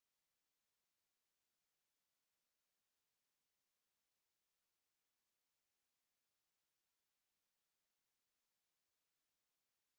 हम इन वैल्यूस को एको करेंगे username or no लिखकर